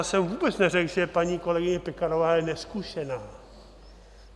Já jsem vůbec neřekl, že paní kolegyně Pekarová je nezkušená.